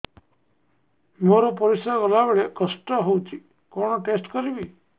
ମୋର ପରିସ୍ରା ଗଲାବେଳେ କଷ୍ଟ ହଉଚି କଣ ଟେଷ୍ଟ କରିବି